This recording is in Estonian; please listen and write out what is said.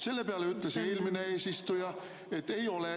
Selle peale ütles eelmine eesistuja, et ei ole.